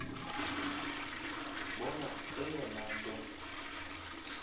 ndibona eyona nto